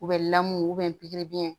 U bɛ lamun pikiribiyɛn